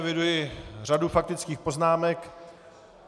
Eviduji řadu faktických poznámek.